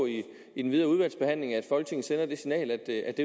i den videre udvalgsbehandling at folketinget sender det signal at